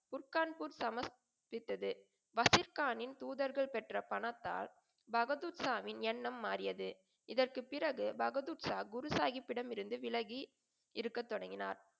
குட்கான்பூர் சமஸ் விட்டது வசிப்கான்னின் தூதர்கள் பெற்ற பணத்தால் பகதூர்ஷாவின் எண்ணம் மாறியது. இதற்குப் பிறகு பகதூர்ஷா குரு சாஹிப்பிடம் இருந்து விலகி இருக்க தொடங்கினார்.